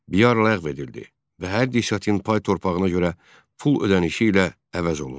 Biyar ləğv edildi və hər desyatin pay torpağına görə pul ödənişi ilə əvəz olundu.